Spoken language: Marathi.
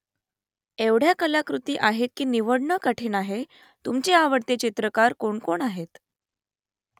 एवढ्या कलाकृती आहेत की निवडणं कठीण आहे तुमचे आवडते चित्रकार कोणकोण आहेत ?